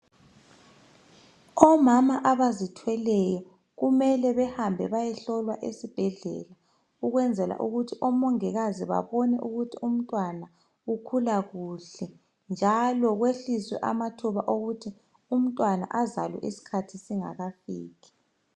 Omama abazithweleyo kumele behambe bayehlolwa esibhedlela ukwenzela ukuthi omongikazi babone ukuthi umntwana ukhula kuhle njalo kwehliswe amathuba okuthi umntwana azalwe isikhathi singakafiki.